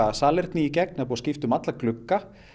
salerni í gegn skipta um alla glugga